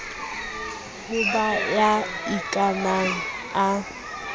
ho ba ya ikanang a